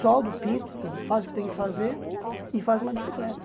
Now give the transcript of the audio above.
Soldo, pinto, faço o que tenho que fazer e faço uma bicicleta.